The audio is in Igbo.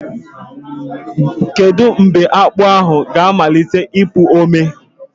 Kedu mgbe akpu ahụ ga-amalite ịpụ ome?